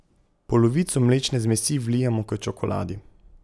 Polovico mlečne zmesi vlijemo k čokoladi.